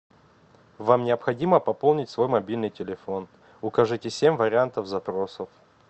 вам необходимо пополнить свой мобильный телефон укажите семь вариантов запросов